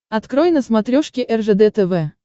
открой на смотрешке ржд тв